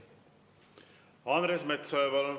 Andres Metsoja, palun!